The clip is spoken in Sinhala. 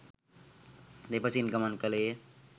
දෙපසින් ගමන් කළේය